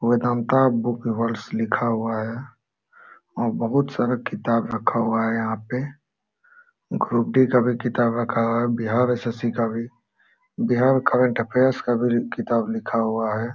Vedanta book worlds लिखा हुआ है और बहुत सारा किताब रखा हुआ है यहाँ पे ग्रुप-डी का भी किताब रखा हुआ है बिहार एस.एस.सी. का भी बिहार करेंट अफेयर्स का भी किताब लिखा हुआ है।